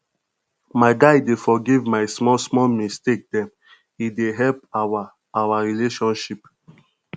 my guy dey forgive my smallsmall mistake dem e dey help our our relationship